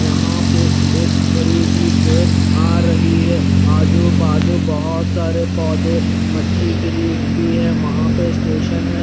यहां पे एक बड़ी सी ट्रेन आ रही है आजू बाजू बहोत सारे पौधे मट्टी गिरी हुई है वहां पे स्टेशन है।